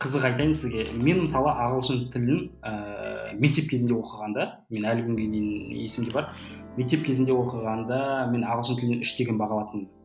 қызық айтайын сізге мен мысалы ағылшын тілін ііі мектеп кезінде оқығанда мен әлі күнге дейін есімде бар мектеп кезінде оқығанда мен ағылшын тілін үш деген баға алатынмын